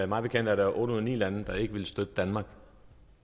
mig bekendt er der otte ud af ni lande der ikke vil støtte danmark